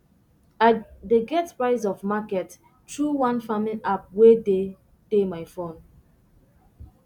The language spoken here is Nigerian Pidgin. i dey get price of market through one farming app wey dey dey my phone